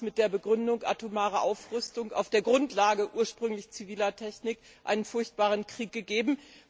Dort hat es mit der Begründung der atomaren Aufrüstung auf der Grundlage ursprünglich ziviler Technik einen furchtbaren Krieg gegeben.